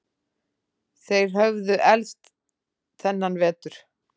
Þeir höfðu elst þennan vetur.